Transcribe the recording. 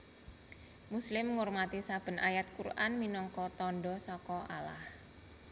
Muslim ngurmati saben ayat Qur an minangka tandha saka Allah